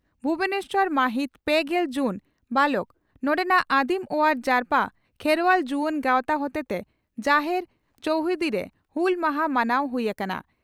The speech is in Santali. ᱵᱷᱩᱵᱚᱱᱮᱥᱚᱨ, ᱢᱟᱹᱦᱤᱛ ᱯᱮᱜᱮᱞ ᱡᱩᱱ (ᱵᱟᱞᱚᱠ) ᱺ ᱱᱚᱰᱮᱱᱟᱜ ᱟᱹᱫᱤᱢ ᱚᱣᱟᱨ ᱡᱟᱨᱯᱟ ᱠᱷᱮᱨᱣᱟᱞ ᱡᱩᱣᱟᱹᱱ ᱜᱟᱣᱛᱟ ᱦᱚᱛᱮᱛᱮ ᱡᱟᱦᱮᱨ ᱪᱚᱣᱦᱩᱫᱤᱨᱮ ᱦᱩᱞ ᱢᱟᱦᱟ ᱢᱟᱱᱟᱣ ᱦᱩᱭ ᱟᱠᱟᱱᱟ ᱾